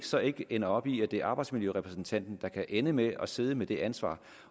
så ikke ender op i at det er arbejdsmiljørepræsentanten der kan ende med at sidde med det ansvar